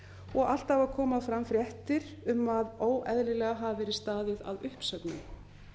og alltaf að koma fram fréttir um að óeðlilega hafi verið staðið að uppsögnum